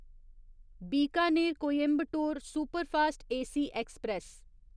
Bikaner Coimbatore superfast AC express